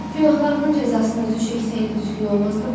Günahlarının cəzasını özü çəksəydi düzgün olmazdımı?